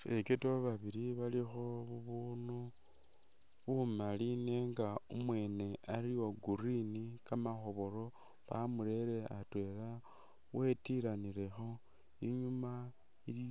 Fekodo babili balikho bubunu bumali nenga umwene ali uwa green kamakhobolo ,bamurere atwela wetilanilekho ,inyuma ili